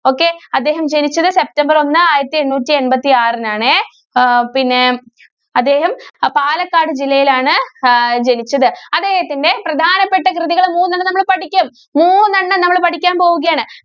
okay. അദ്ദേഹം ജനിച്ചത് september ഒന്ന് ആയിരത്തി എണ്ണൂറ്റി എണ്‍പത്തിആറിനാണേ. ആഹ് പിന്നെ അദ്ദേഹം അ പാലക്കാട് ജില്ലയിലാണ് ആഹ് ജനിച്ചത്. അദ്ദേഹത്തിന്റെ പ്രധാനപ്പെട്ട കൃതികള് മൂന്നെണ്ണം നമ്മള് പഠിക്കും. മൂന്നെണ്ണം നമ്മള് പഠിക്കാന്‍ പോവുകയാണ്.